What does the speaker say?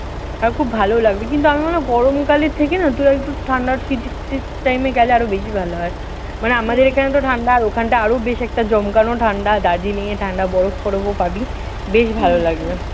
আমার খুব ভালো লাগবে। কিন্তু আমি ভাবলাম গরমকালের থেকে না তুই একটু ঠান্ডা শীত শীত time এ গেলে আরও বেশি ভালো হয়। মানে আমাদের এখানেতো আর ওখানটা আরও বেশ একটা জমকানো ঠান্ডা। দার্জিলিংয়ে ঠান্ডা বরফ-টরফও পাবি। বেশ ভালো লাগবে।